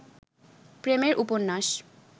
প্রেমের উপন্যাস